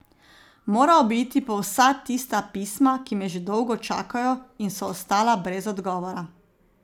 Moral bi iti po vsa tista pisma, ki me že dolgo čakajo in so ostala brez odgovora.